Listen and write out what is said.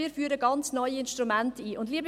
Wir führen ganz neue Instrumente ein.